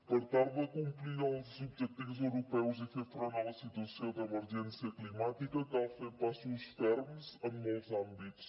per tal de complir els objectius europeus i fer front a la situació d’emergència climàtica cal fer passos ferms en molts àmbits